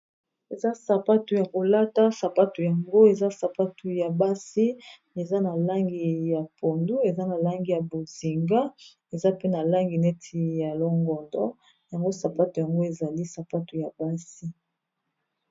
Eza sapato ya kolata sapato yango eza sapatu ya basi eza na langi ya pondu eza na langi ya bozinga eza pe na langi neti ya longondo yango sapato yango ezali sapato ya basi.